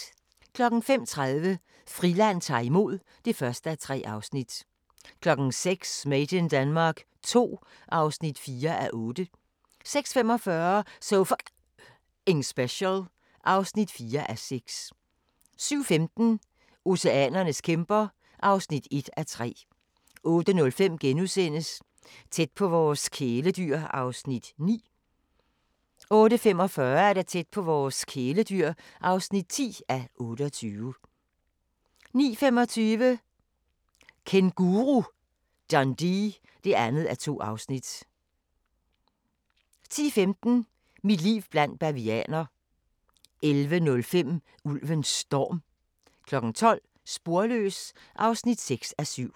05:30: Friland ta'r imod (1:3) 06:00: Made in Denmark II (4:8) 06:45: So F***ing Special (4:6) 07:15: Oceanernes kæmper (1:3) 08:05: Tæt på vores kæledyr (9:28)* 08:45: Tæt på vores kæledyr (10:28) 09:25: Kænguru Dundee (2:2) 10:15: Mit liv blandt bavianer 11:05: Ulven Storm 12:00: Sporløs (6:7)